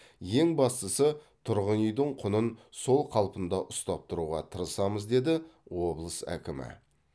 ең бастысы тұрғын үйдің құнын сол қалпында ұстап тұруға тырысамыз деді облыс әкімі